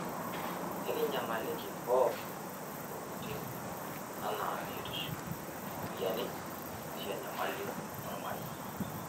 Ekinyamaliki pookin ntokitin anaa biotisho, ropiyiani aashu enyamali olmarei.